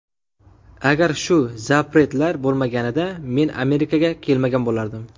Agar shu ‘zapret’lar bo‘lmaganida men Amerikaga kelmagan bo‘lardim.